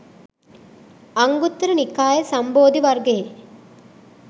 අංගුත්තර නිකාය, සම්බෝධි වර්ගයේ